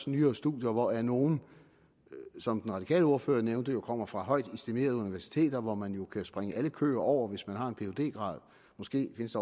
nyere studier hvoraf nogle som den radikale ordfører nævnte kommer fra højt estimerede universiteter hvor man jo kan springe alle køer over hvis man har en phd grad måske findes